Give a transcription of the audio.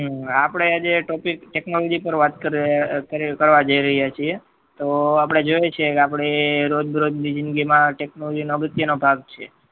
આપડે આજે topic technology પર વાત કરવા જઈ રહ્યા છીએ તો આપડે જોઈએ છીએ કે રોજ રોજ ની જિંદગી માં technology એ અગત્ય નો ભાગ છે